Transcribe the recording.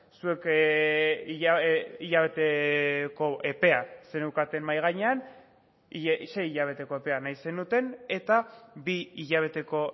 zuek hilabeteko epea zeneukaten mahai gainean sei hilabeteko epea nahi zenuten eta bi hilabeteko